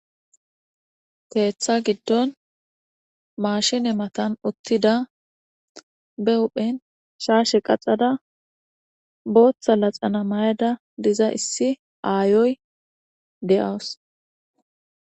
Teeththa giddon maashine matan uttida be uphen shaashe qacada booththa laxana mayada diza issi aayoy de'awus.